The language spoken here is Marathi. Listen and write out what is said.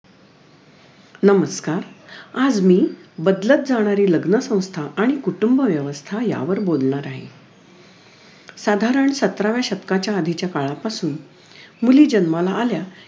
नमस्कार आज मी बदलत जाणारी लग्नसंस्था आणि कुटुंबव्यवस्था यावर बोलणार आहे साधारण सतराव्या शतकाच्या आधीच्या काळापासून मुली जन्माला आल्या